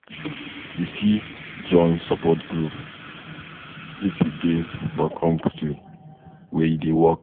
You fit join support groups if you dey for country where e dey work